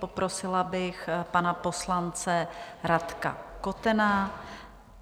Poprosila bych pana poslance Radka Kotena.